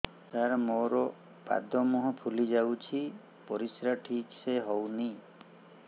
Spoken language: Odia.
ସାର ମୋରୋ ପାଦ ମୁହଁ ଫୁଲିଯାଉଛି ପରିଶ୍ରା ଠିକ ସେ ହଉନି